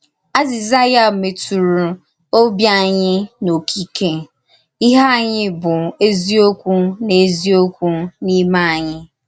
Azị̀zà ya mètùrù òbì ànyì n’ókíkè — íhè ànyì bụ̀ n’èzíokwu n’èzíokwu n’ímè ànyì.